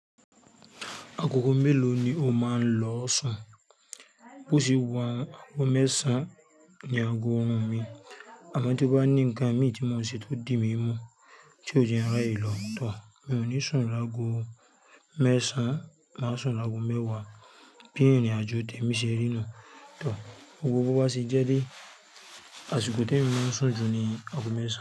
Agogo mélòó ni o máa ń lọ sùn? Bo ṣe wà, ago mẹ́ẹ̀sán ni ago ọrùn mi, àmọ́ tí mo bá ní ǹkan mi tí n ò ṣe tó di mí mú tí ó jẹ́ ráyè lò, tò, mi ò ní sùn lágo mẹ́ẹ̀sán, màá sùn lágo mẹ́wàá. Bí irín àjọ̀ tẹmi ṣe rí nú, tò, gbogbo bó bá ṣe jẹ́ dé, àsìkò tèmi sùn jù ni ago mẹ́ẹ̀sán.